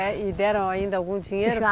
E deram ainda algum dinheiro? Já